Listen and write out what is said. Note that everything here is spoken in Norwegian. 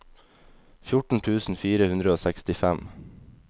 fjorten tusen fire hundre og sekstifem